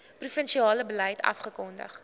provinsiale beleid afgekondig